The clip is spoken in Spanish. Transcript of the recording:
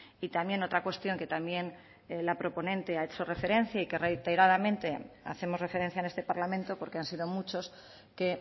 y también otra cuestión que también la proponente ha hecho referencia y que reiteradamente hacemos referencia en este parlamento porque han sido muchos que